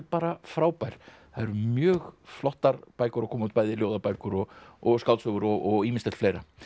bara frábær það eru mjög flottar bækur að koma út bæði ljóðabækur og og skáldsögur og ýmislegt fleira